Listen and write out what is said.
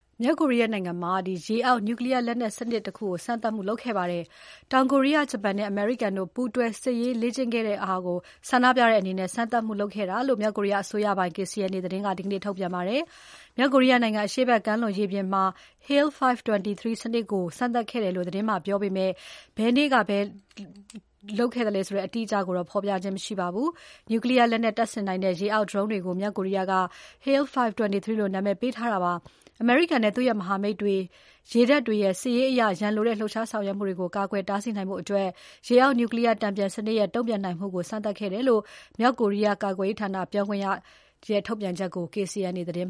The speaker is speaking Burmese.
မြောက်ကိုရီးယားနိုင်ငံမှာ ရေအောက် နျူကလီးယား လက်နက်စနစ် စမ်းသပ်မှုတခုလုပ်ခဲ့ပါတယ်။ တောင်ကိုရီယား၊ ဂျပန်နဲ့ အမေရိကန်ပူးတွဲ စစ်ရေးလေ့ကျင့်ခဲ့တာကို ဆန္ဒပြတဲ့အနေနဲ့ စမ်းသပ်မှုလုပ်ခဲ့တာလို့ မြောက်ကိုရီးယားအစိုးရပိုင် KCNA သတင်းက ဒီနေ့သတင်းထုတ်ပြန်ပါတယ်။ မြောက်ကိုရီးယားနိုင်ငံ အရှေ့ဘက်ကမ်းလွန်ရေပြင်မှာ Haeil-5-23 စနစ်ကို စမ်းသပ်ခဲ့တယ်လို့ သတင်းမှာ ပြောပေမဲ့ ဘယ်နေ့က လုပ်ခဲ့သလဲ အတိအကျ ဖော်ပြခြင်း မရှိပါဘူး။ နျူကလီးယား လက်နက်တပ်ဆင်နိုင်တဲ့ ရေအောက် ဒရုန်းတွေကို မြောက်ကိုရီယားက Haeil-5-23 လို့နာမည်ပေးထားတာပါ။ အမေရိကန်နဲ့ သူ့ရဲ့ မဟာမိတ်တွေရေတပ်တွေရဲ့ စစ်ရေးအရ ရန်လိုတဲ့ လှုပ်ရှားဆောင်ရွက်မှုတွေကို ကာကွယ်တားဆီးနိုင်ဖို့ ရေအောက် နျူကလီးယား တန်ပြန်စနစ်ရဲ့ တုံ့ပြန်နိုင်မှုကို စမ်းသပ်ခဲ့တယ်လို့ မြောက်ကိုရီးယားကာကွယ်ရေးဌာန ပြောခွင့်ရရဲ့ ထုတ်ပြန်ချက်ကို KCNA သတင်း